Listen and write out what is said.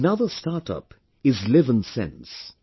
Another startup is LivNSense